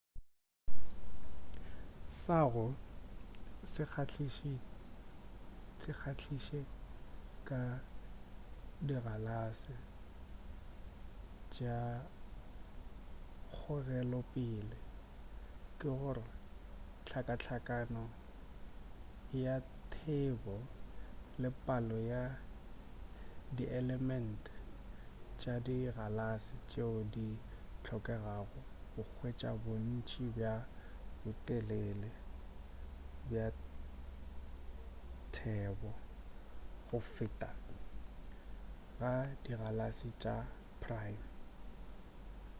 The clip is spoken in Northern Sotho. sa go se kgahliše ka dikgalase tša kgogelopele ke gore hlakahlakano ya thebo le palo ya dielement tša dikgalase tšeo di hlokegago go hwetša bontši bja botelele bja thebo go feta ga dikgalase tša prime